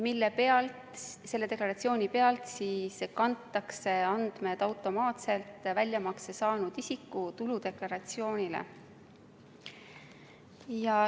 Selle deklaratsiooni pealt kantakse andmed automaatselt väljamakse saanud isiku tuludeklaratsioonile.